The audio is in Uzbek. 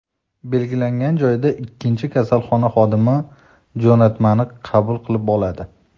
Belgilangan joyda ikkinchi kasalxona xodimi jo‘natmani qabul qilib oladi.